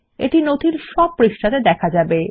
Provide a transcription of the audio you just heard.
এটি নথির সব পৃষ্ঠাতে দেখা যাবে